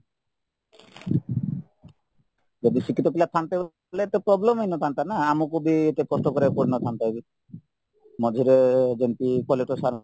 ଯଦି ଶିକ୍ଷିତ ପିଲା ଥାନ୍ତେ ବୋଲେ problem ହେଇନଥାନ୍ତାନା ଆମକୁବି ଏତେ କଷ୍ଟ କରିବାକୁ ପଡ଼ିନଥାନ୍ତାବି ମଝିରେ ଯେମିତି collector sir